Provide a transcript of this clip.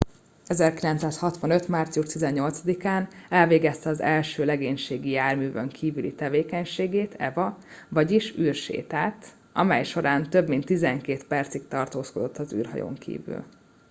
"1965. március 18-án elvégezte az első legénységi járművön kívüli tevékenységet eva vagyis "űrsétát" amej során több mint tizenkét percig tartózkodott az űrhajón kívül.